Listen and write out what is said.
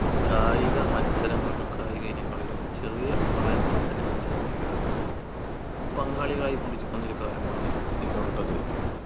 കായിക മത്സരങ്ങളിലും കായിക ഇനങ്ങളിലും ചെറിയ പ്രായം മുതൽ തന്നെ വിദ്യാർത്ഥികൾ പങ്കാളികളായിക്കൊണ്ടിരിക്കുന്ന ഒരു കാര്യമാണ് ഇന്നുള്ളത്